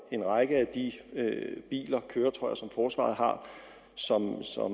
en række af de køretøjer som forsvaret har som